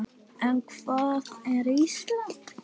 En hvað er Ísland?